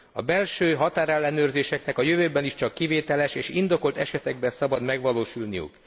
A belső határellenőrzéseknek a jövőben is csak kivételes és indokolt esetekben szabad megvalósulniuk.